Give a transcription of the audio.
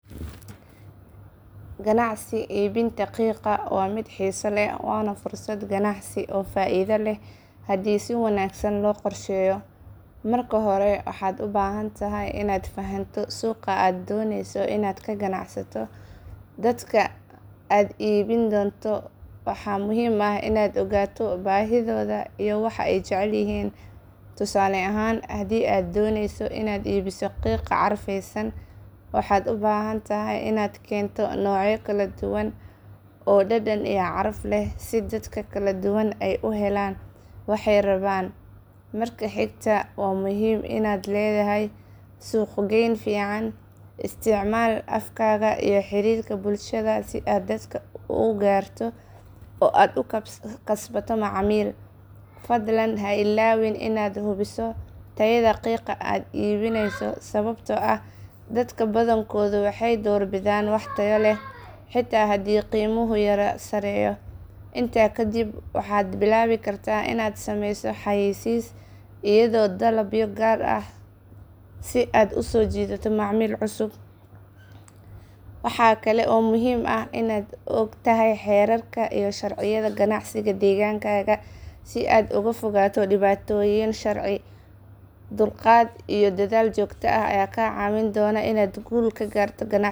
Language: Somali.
Ganacsi iibinta qiiqa waa mid xiiso leh waana fursad ganacsi oo faa'iido leh haddii si wanaagsan loo qorsheeyo. Marka hore waxaad u baahan tahay inaad fahanto suuqa aad dooneyso inaad ka ganacsato. Dadka aad iibin doonto waa muhiim inaad ogaato baahidooda iyo waxa ay jecel yihiin. Tusaale ahaan, haddii aad dooneyso inaad iibiso qiiqa carfeysan, waxaad u baahan tahay inaad keento noocyo kala duwan oo dhadhan iyo caraf leh si dadka kala duwan ay u helaan waxa ay rabaan. Marka xigta, waa muhiim inaad leedahay suuqgeyn fiican. Isticmaal afkaaga iyo xiriirka bulshada si aad dadka u gaarto oo aad u kasbato macaamiil. Fadlan ha ilaawin inaad hubiso tayada qiiqa aad iibinayso sababtoo ah dadka badankoodu waxay doorbidaan wax tayo leh xitaa haddii qiimuhu yara sareeyo. Intaa kadib, waxaad bilaabi kartaa inaad sameyso xayeysiis iyo dalabyo gaar ah si aad u soo jiidato macaamiil cusub. Waxaa kale oo muhiim ah inaad ogtahay xeerarka iyo sharciyada ganacsiga deegaankaaga si aad uga fogaato dhibaatooyin sharci. Ugu dambeyn, dulqaad iyo dadaal joogto ah ayaa kaa caawin doona inaad guul ka gaarto ganacsigaaga. Ha ka cabsan inaad bilowdo, talaabo walba oo yar waxay kaa dhigan tahay horumar.